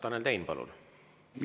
Tanel Tein, palun!